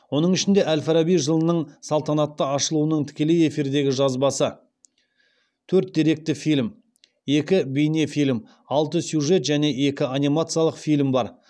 оның ішінде әл фараби жылының салтанатты ашылуының тікелей эфирдегі жазбасы төрт деректі фильм екі бейнефильм алты сюжет және екі анимациялық фильм бар